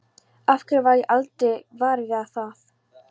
Af hverju varð ég aldrei var við það?